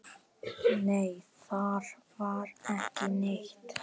Hvað tekur við?